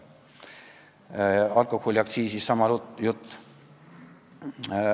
Alkoholiaktsiisi kohta on sama jutt.